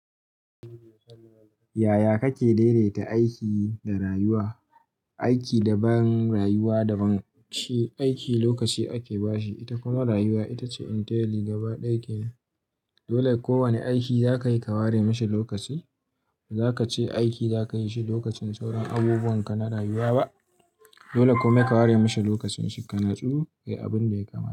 Yaya kake daidaita aiki da rayuwa? Aiki daban rayuwa daban. Aiki lokaci ake bashi, ita kuma rayuwa ita ce inteli gaba ɗaya kenan. Dole kowane aiki zakayi ka ware mashi lokaci. Bazaka ce aiki zakayi shi lokacin sauran abubuwan ka na rayuwa ba. Dole kuma ka ware mashi lokacin shi, ka natsu ka yi abin da ya kamata.